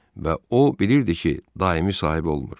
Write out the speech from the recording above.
Və o bilirdi ki, daimi sahibi olmur.